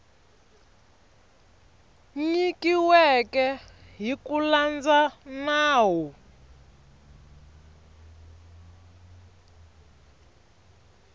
nyikiweke hi ku landza nawu